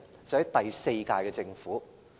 是第四屆政府。